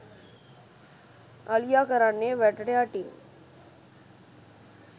අලියා කරන්නේ වැටට යටින්